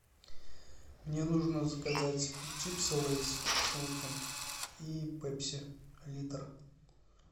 мне нужно заказать чипсы лейс с луком и пепси литр